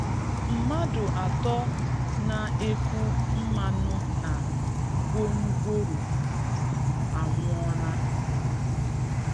Mmadụ atọ na-eku mmanụ na gwongworo anwụola